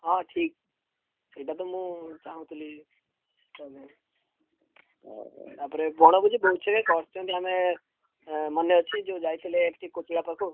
ହଁ ଠିକ୍। ସେଇଟାତ ମୁଁ ଚାହୁଁଥିଲି। ତାପରେ ବଣଭୋଜି କରିଛନ୍ତି ଆମେ ଏଁ ମନେ ଅଛି ଯୋଉ ଯାଇଥିଲେ ଏଠି ପାଖୁକୁ?